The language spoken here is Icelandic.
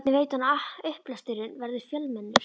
Hvernig veit hann að upplesturinn verður fjölmennur?